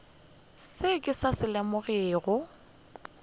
seo ke sa se lebogago